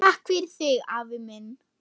Takk fyrir þig, afi minn.